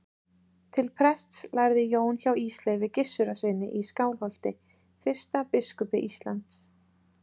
Til prests lærði Jón hjá Ísleifi Gissurarsyni í Skálholti, fyrsta biskupi Íslands.